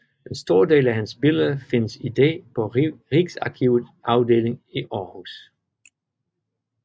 En stor del af hans billeder findes i dag på Rigsarkivets afdeling i Aarhus